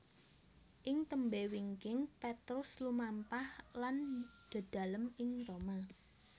Ing tembé wingking Petrus lumampah lan dedalem ing Roma